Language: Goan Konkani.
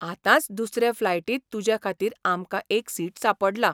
आतांच दुसरे फ्लायटींत तूजेखातीर आमकां एक सीट सांपडलां.